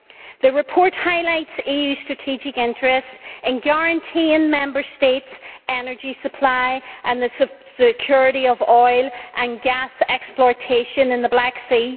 The report highlights EU strategic interests in guaranteeing Member States' energy supply, and the security of oil and gas exploitation in the Black Sea.